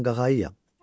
Mən qağayıyam.